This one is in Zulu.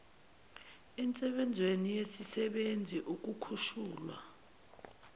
ensebenzweni yesisebenzi ukukhushulwa